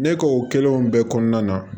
Ne k'o kɛlen bɛɛ kɔnɔna na